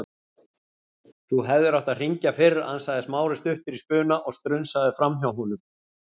Þú hefðir átt að hringja fyrr- ansaði Smári stuttur í spuna og strunsaði framhjá honum.